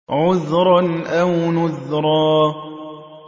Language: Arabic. عُذْرًا أَوْ نُذْرًا